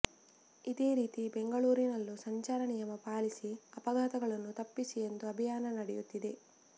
ಇದೇ ರೀತಿ ಬೆಂಗಳೂರಿನಲ್ಲೂ ಸಂಚಾರ ನಿಯಮ ಪಾಲಿಸಿ ಅಪಘಾತಗಳನ್ನು ತಪ್ಪಿಸಿ ಎಂದು ಅಭಿಯಾನ ನಡೆಯುತ್ತಿದೆ